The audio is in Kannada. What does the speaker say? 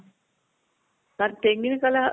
ನಾನು ತೆಂಗಿನ ಕಲ